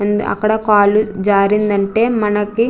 and అక్కడ కాలు జారిందంటే మనకి --